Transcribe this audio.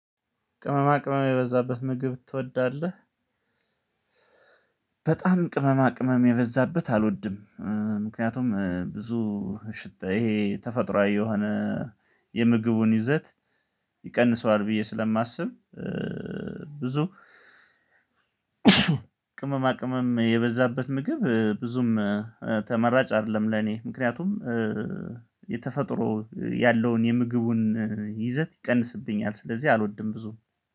ቅመማ ቅመም የበዛበት ምግብ ትወዳለህ? በጣም ቅመማ ቅመም የበዛበት አልወድም። ምክንያቱም ብዙ ሽታ ይሄ ተፈጥሮአዊ የሆነ የምግቡን ይዘት ይቀንሰዋል ብዬ ስለማስብ። ብዙ ቅመማ ቅመም የበዛበት ምግብ ብዙም ተመራጭ አይደለም። ለኔ ምክንያቱም የተፈጥሮ ያለውን የምግቡን ይዘት ይቀንስብኛል ስለዚህ አልወድም ብዙም